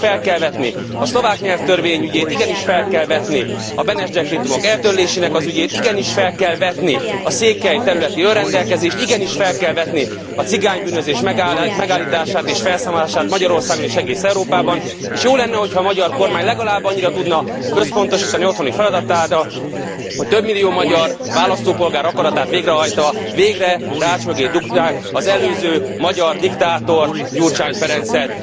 Igenis fel kell vetni a szlovák nyelvtörvény ügyét, igenis fel kell vetni a Beneš dekrétumok eltörlésének az ügyét, igenis fel kell vetni a székely területi önrendelkezést, igenis fel kell vetni a cigánybűnözés megállítását és felszámolását Magyarországon és egész Európában, és jó lenne, hogyha a magyar kormány legalább annyira tudna összpontosítani otthoni feladatára, hogy több millió magyar választópolgár akaratát végrehajtva végre rács mögé dugják az előző magyar diktátort, Gyurcsány Ferencet.